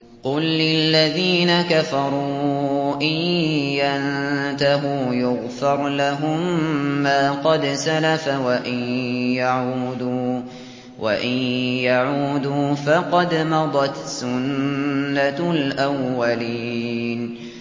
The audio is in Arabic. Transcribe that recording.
قُل لِّلَّذِينَ كَفَرُوا إِن يَنتَهُوا يُغْفَرْ لَهُم مَّا قَدْ سَلَفَ وَإِن يَعُودُوا فَقَدْ مَضَتْ سُنَّتُ الْأَوَّلِينَ